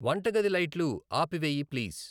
వంట గది లైట్లు ఆపివేయి ప్లీజ్